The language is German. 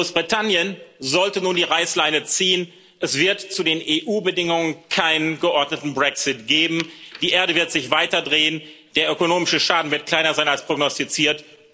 Großbritannien sollte nun die Reißleine ziehen, es wird zu den EU Bedingungen keinen geordneten Brexit geben, die Erde wird sich weiter drehen, der ökonomische Schaden wird kleiner sein als prognostiziert.